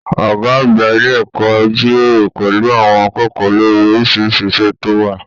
Ọgá àgbà ilé ẹ̀kọ́ jíròrò pẹlú àwọn akẹ́kọ̀ọ́ lórí orisirisi iṣẹ tó wà.